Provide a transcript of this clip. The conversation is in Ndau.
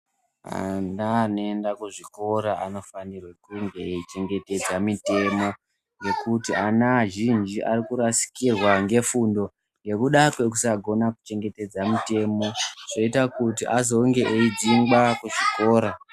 Ana anoenda kuzvikora anofana kunge eichengetedza mitemo nekuti ana azhinji arikurasikirwa nefundo nekuda kwekusagona kuchengetedza mitemo zvoita kuti azonge eidzingwa kuzvikora.